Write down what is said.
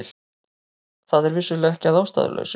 Það er vissulega ekki að ástæðulausu